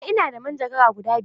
Eh, ina da manjagara guda biyar.